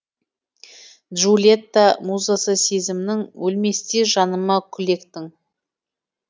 джульетта музасы сезімнің өлместей жаныма гүл ектің